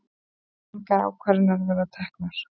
Engar ákvarðanir verið teknar